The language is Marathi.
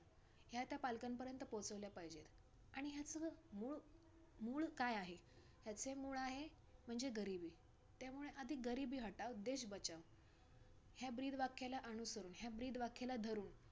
ह्या त्या पालकांपर्यंत पोहचवल्या पाहिजेत. आणि ह्या सगळ्यात मूळ, मूळ काय आहे, ह्याचे मूळ आहे म्हणजे गरिबी. त्यामुळे आधी गरिबी हटाओ देश बचाओ ह्या ब्रीद वाक्याला अनुसरून, ब्रीद वाक्याला धरून